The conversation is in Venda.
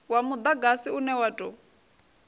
wa mudagasi une wa tou